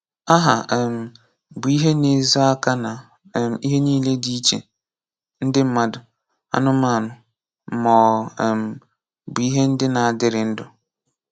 Aha um bụ ihe na-ezo aka na um ihe niile di iche/ndị mmadụ, anụmanụ, ma ọ um bụ ihe ndị na-adịrị ndụ.